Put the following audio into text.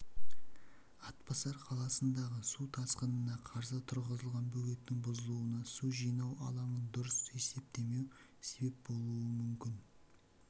атбасар қаласындағы су тасқынына қарсы тұрғызылған бөгеттің бұзылуына су жинау алаңын дұрыс есептемеу себеп болуы мүмкін